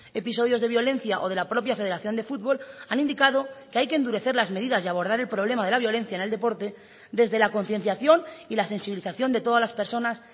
episodios de violencia o de la propia federación de fútbol han indicado que hay que endurecer las medidas y abordar el problema de la violencia en el deporte desde la concienciación y la sensibilización de todas las personas